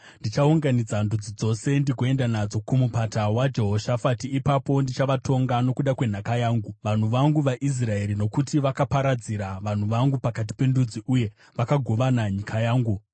ndichaunganidza ndudzi dzose ndigoenda nadzo kuMupata waJehoshafati. Ipapo ndichavatonga nokuda kwenhaka yangu, vanhu vangu vaIsraeri, nokuti vakaparadzira vanhu vangu pakati pendudzi, uye vakagovana nyika yangu.